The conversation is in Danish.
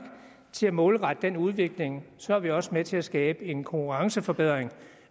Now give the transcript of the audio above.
til at målrette den udvikling så er vi også med til at skabe en konkurrenceforbedring